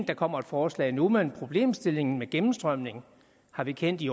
der kommer et forslag nu men problemstillingen med gennemstrømning har vi kendt i